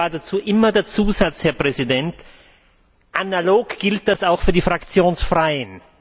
Früher gab es dazu immer den Zusatz, Herr Präsident Analog gilt das auch für die Fraktionslosen.